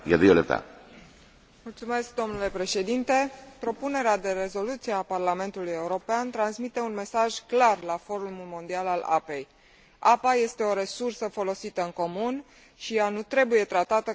Propunerea de rezoluție a Parlamentului European transmite un mesaj clar în cadrul Forumului mondial al apei apa este o resursă folosită în comun și ea nu trebuie tratată ca o marfă menită să producă profit pentru o minoritate.